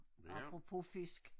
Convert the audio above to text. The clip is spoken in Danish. Apropos fisk